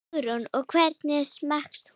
Hugrún: Og hvernig smakkast hann?